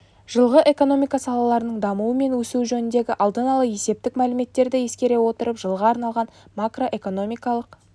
жылғы экономика салаларының дамуы мен өсуі жөніндегі алдын ала есептік мәліметтерді ескере отырып жылға арналған макроэкономикалық